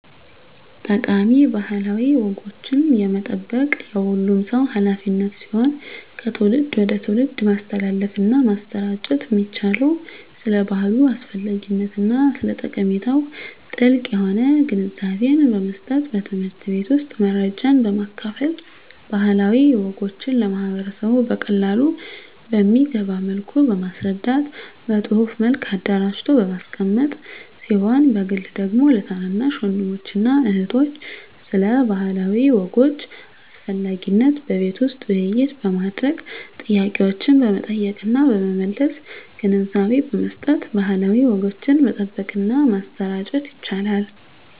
ጠቃሚ ባህላዊ ወጎችን የመጠበቅ የሁሉም ሰው ሀላፊነት ሲሆን ከትውልድ ወደ ትውልድ ማስተላለፍና ማሰራጨት የሚቻለው ስለ ባህሉ አስፈላጊነትና ስለ ጠቀሜታው ጥልቅ የሆነ ግንዛቤን በመስጠት በትምህርት ቤት ውስጥ መረጃን በማካፈል ባህላዊ ወጎችን ለማህበረሰቡ በቀላሉ በሚገባ መልኩ በማስረዳት በፅሁፍ መልክ አደራጅቶ በማስቀመጥ ሲሆን በግል ደግሞ ለታናናሽ ወንድሞችና እህቶች ስለ ባህላዊ ወጎች አስፈላጊነት በቤት ውስጥ ውይይት በማድረግ ጥያቄዎችን በመጠየቅና በመመለስ ግንዛቤ በመስጠት ባህላዊ ወጎችን መጠበቅና ማሰራጨት ይቻላል።